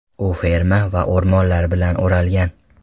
U ferma va o‘rmonlar bilan o‘ralgan.